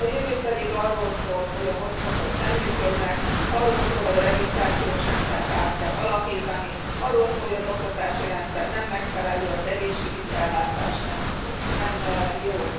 A jövő pedig arról szól, hogy a hotspotok nem működnek, arról szól, hogy a regisztrációs rendszert át kell alakítani, arról szól, hogy az oktatási rendszer nem megfelelő, az egészségügyi ellátás nem jó.